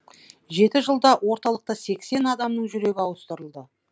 жеті жылда орталықта сексен адамның жүрегі ауыстырылды